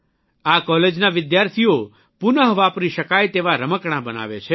આ કોલેજના વિદ્યાર્થીઓ પુનઃ વાપરી શકાય તેવા રમકડાં બનાવે છે